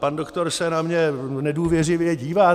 Pan doktor se na mě nedůvěřivě dívá.